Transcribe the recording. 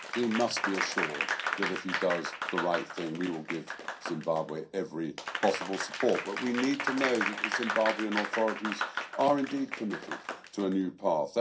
He must be assured that if he does the right thing then we will give Zimbabwe every possible support, but we need to know that the Zimbabwean authorities are indeed committed to a new path.